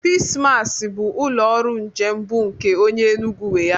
Peace Mass bụ ụlọ ọrụ njem bụ nke onye Enugu nwe ya.